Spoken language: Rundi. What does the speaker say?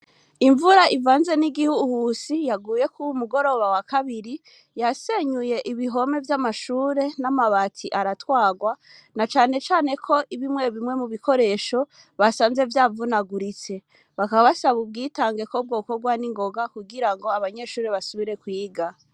Imvura, ivanze n'igihuhusi, yaguye kw'uwu mugoroba, wa kabiri, yasenyuye ibihome, vy'amashure, n'amabati aratwarwa; na cane cane ko, bimwe bimwe mu bikoresho, basanze vyavunaguritse; bakaba basaba, ubwitange, ko bwokorwa ningoga, kugira ngo, abanyeshure, basubire kwiga.